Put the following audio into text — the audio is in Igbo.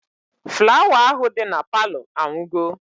Flawa ahụ dị na Palọ anwụgo